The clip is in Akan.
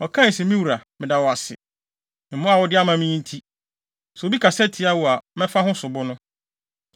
Ɔkae se, “Me wura, meda wo ase. Mmoa a wode ama me yi nti, sɛ obi kasa tia wo a, mɛfa ho sobo no.”